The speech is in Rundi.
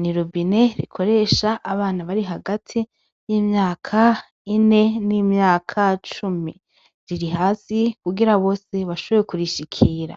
n'irobine rikoresha abana bari hagati y'imyaka ine n'imyaka cumi, riri hasi kugira bose bashobore kurishikira .